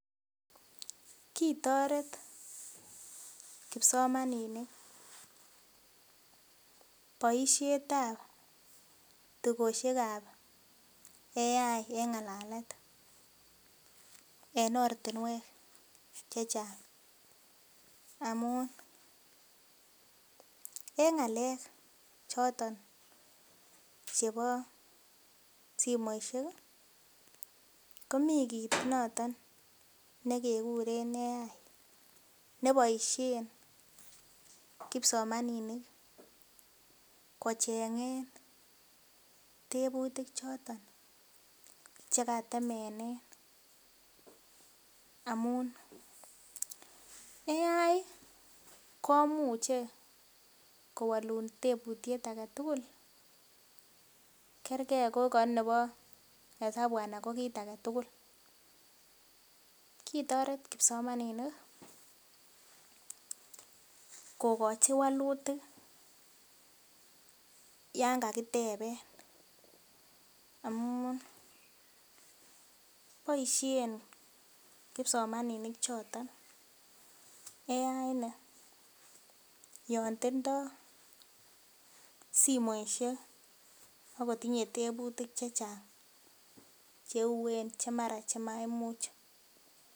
Kitoret kipsomaninik boishetab tugoshekab AI eng ngalalet en oratnwek chechang amun eng ngalek choton simoisheki komikit noton nekekuren AI neboishen kipsomaninik kochengen tebuti chotok chekatemenen amun AI komuche kowul tebutiet agetugul kerkee ngoko nepo esabu anako kit agetugul kitoret kipsomaninik kokochi wolutik yonkakiteben amun boishen kipsomaninik choton AI nii yontindo simoishek akotinye tebutik chechang cheuen chemara chemaimuch